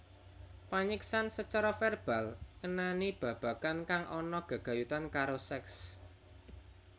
Panyiksan sacara verbal ngenani babagan kang ana gegayutane karo seks